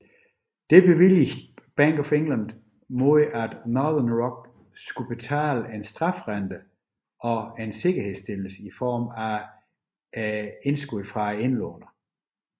Dette bevilgede Bank of England mod at Northern Rock skal betale en strafrente samt sikkerhedstillelse i form af indlånerens indskud